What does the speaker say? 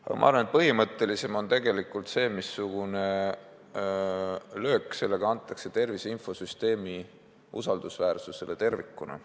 Aga ma arvan, et oluline on tegelikult see, missugune löök antakse tervise infosüsteemi usaldusväärsusele tervikuna.